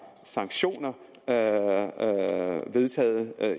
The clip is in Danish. sanktioner vedtaget